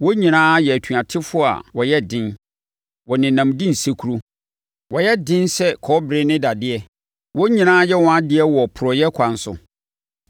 Wɔn nyinaa yɛ atuatefoɔ a wɔyɛ den, wɔnenam di nsekuro. Wɔyɛ den sɛ kɔbere ne dadeɛ; wɔn nyinaa yɛ wɔn adeɛ wɔ porɔeɛ ɛkwan so.